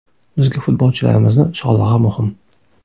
Bizga futbolchilarimizni sog‘lig‘i muhim.